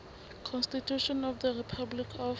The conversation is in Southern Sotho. constitution of the republic of